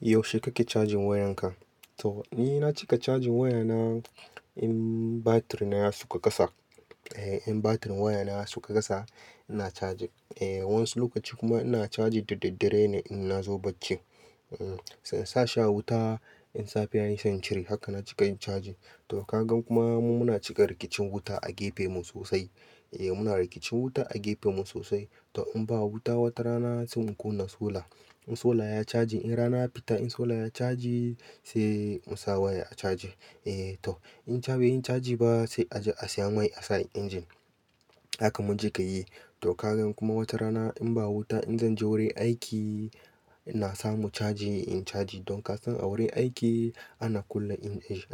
Yaushe kake charging wayan ka? To ni na cika charging wayana in batir na suka kasa. Eh, in batir wayana sauka kasa, ina charge. Eh, wasu lokaci kuma ina charge da daddare ne in nazo bacci. Hmm, sai in sa shi a wuta in safe yayi sai in cire. Haka na cika yin charging. To kaga kuma mu muna cika rikicin wuta a gefen mu sosai. Eh, muna rikicin wuta a gefen mu sosai. To in ba wuta wata rana sai mu kunna solar. In solar ya caji, in rana ya fita in solar ya charge sai mu sa waya a caji. Eh to in ba yi cajin ba sai a je a siya mai a sa a injin. Haka mun cika yi. To kaga kuma wata rana in ba wuta in zan je wurin aiki, ina samu caji in caji. Don kasan a wurin aiki ana kunna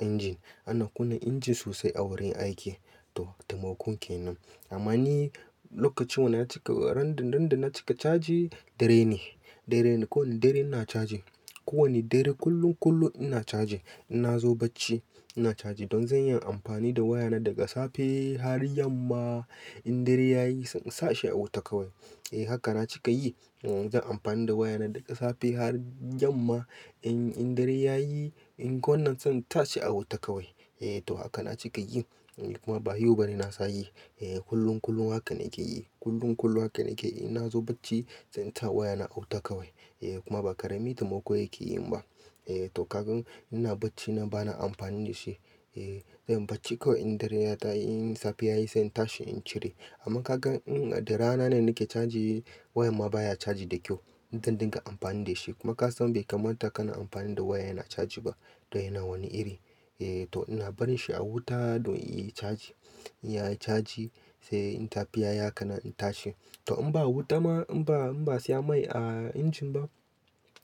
injin, ana kunna injin sosai a wurin aiki. To taimakon kenan. Amma ni lokacin wana na cika randan, randan na cika caji dare ne, dare ne. Ko wani dare ina caji. Ko wane dare kullum, kullum ina charge. In nazo bacci ina charge. Don zan iya amfani da wayana daga safe har yamma in dare yayi sai in sa shi a wuta kawai. Eh haka na cika yi. Hmm zan amfani da wayana daga safe har yamma in, in dare yayi in ko wannan sai in tashi a wuta kawai. Eh to haka na cika yin. Kuma ba yau bane na sa yi. Eh kullum, kullum hakan nake yi. Kullum, kullum hakan nake yi. In nazo bacci sai in sa wayana a wuta kawai. Eh kuma ba karemi taimako yake yin ba. Eh to kagan ina bacci na bana amfani da shi. Eh zan yi bacci kawai in dare ya ta'i in safe yayi sai in tashi in cire. Amma kaga in darana nake charge wayan ma baya charge da kyau. Zan dinga amfani da shi kuma kasan bai kamata kana amfani da waya yana charge ba. To yana wani iri. Eh to ina barin shi a wuta don yayi charge. Yayi charge sai in safe yayi kana in tashi. To in ba wuta ma in ba, in ba siya mai a injin ba,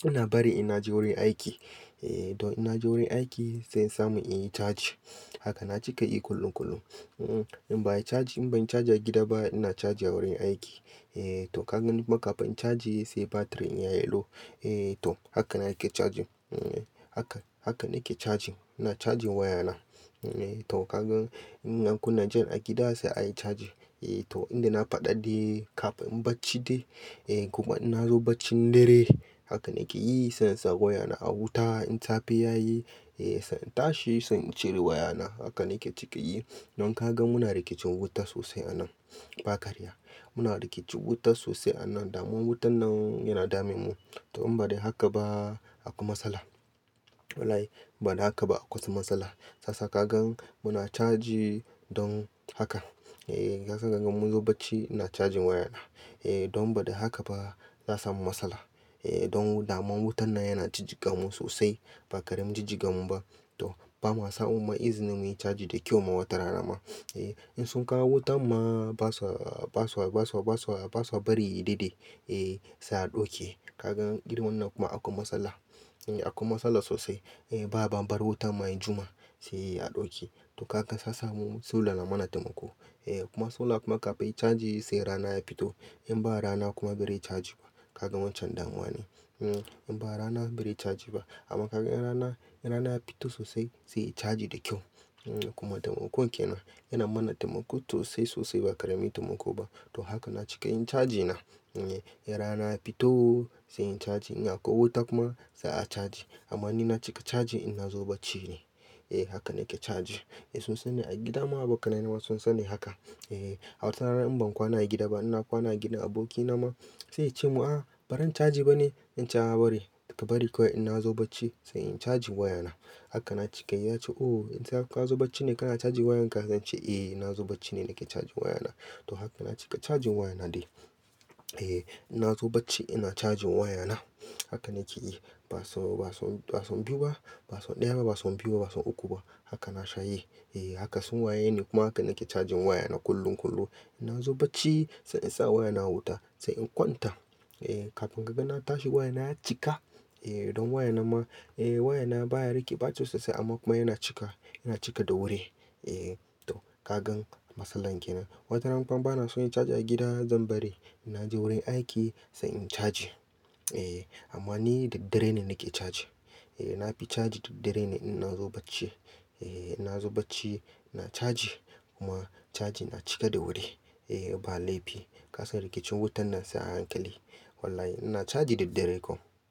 ina bare ina je wurin aiki. Eh to ina je wurin aiki sai in samu in yi charge. Haka na cika yi kullum, kullum. Hmm in bayi charge, in ban charge a gida ba ina charge a wurin aiki. Eh to kagan kuma kafin charge yi sai batir in yayi low. Eh to hakan nake charging. Hmm haka, hakan nake charging. Ina charging wayana. Eh to kagan in an kunna jan a gida sai ayi charging. Eh to inda na fada dai kafin bacci dai. Eh kuma in nazo bacci dare hakan nake yi sai in sa wayana a wuta in safe yayi. Eh sai in tashi sai in cire wayana. Hakan nake cika yi. Don kaga muna rikicin wuta sosai anan. Ba karya. Muna rikicin wuta sosai anan dama wutan nan yana damun mu. To in ba dai haka ba akwai matsala. Wallahi ba dan haka ba akwai su matsala. Sasa kagan muna charge yi don haka. Eh haka zakagan mu zo bacci ina charging wayana. Eh don ba don haka ba za sa mu matsala. Eh don dama wutan nan yana jijiga mu sosai. Ba karamin ji jiga mu ba. To bamu samu ma izinin muyi charge da kyau ma wata rana ma. Eh in sun kawo wuta ma ba su ba su ba su ba su ba su bari yi dade. Eh sai a ɗauke. Kaga irin wannan kuma akwai matsala. Eh akwai matsala sosai. Eh ba a bambar wuta ma ya juma sai a ɗauke. To kaga sasa mu solar na mana taimako. Eh kuma solar kuma kafin charge yi sai rana ya fito. In ba rana kuma bai rayi charge ba. Kaga waccan damuwa ne. Hmm in ba rana bai rayi charge ba. Amma kaga in rana, in rana ya fito sosai sai charge da kyau. Hmm kuma taimakon kenan yana mana taimako sosai sosai ba karmin taimako ba. To haka na cika yin charging na. E, in rana ya fito sai in charge. In akwai wuta kuma sai a charge. Amma ni na cika charging in nazo bacci ne. Eh haka nake charge. Eh sun sani a gida ma ba kana yin ma sun sani haka. Eh a wata rana in ban kwana a gida ba ina kwana gidan aboki na ma sai ya ce mun, "Ah, baron charge bane in ce a'a ba bari." Ka bari kawai in nazo bacci sai in charge wayana. Haka na cika yi. Ya ce, "O in ka zo bacci ne kana charging wayan ka?" Zan ce, "Eh ina zo bacci ne nake charging wayana." To haka na cika charging wayana dai. Eh ina zo bacci ina charging wayana. Haka nake yi. Ba son, ba son, ba son biyu ba. Ba son ɗaya ba, ba son biyu ba, ba son uku ba. Haka na sha yi. Eh haka sun waye ni kuma haka nake charging wayana kullum, kullum. In nazo bacci sai in sa wayana wuta sai in kwanta. Eh kafin ka ga na tashi wayana ya cika. Eh don wayana ma, eh wayana baya rike batir sosai amma kuma yana cika. Yana cika da wuri. Eh to kagan matsalar kenan. Wata rana kuma bana so yin charge a gida zan bari. Ina je wurin aiki sai in charge. Eh amma ni da dare ne nake charge. Eh na fi charge da dare ne in nazo bacci. Eh ina zo bacci ina charge kuma charge yana cika da wuri. Eh ba laifi. Kasan rikicin wutan nan sai a hankali. Wallahi ina charge da dare kawai.